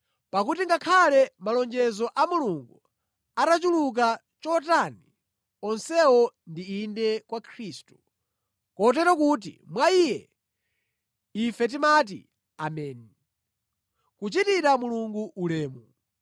Pakuti ngakhale malonjezo a Mulungu atachuluka chotani, onsewo ndi “Inde” mwa Khristu. Kotero kuti mwa Iye, ife timati “Ameni” kuchitira Mulungu ulemu.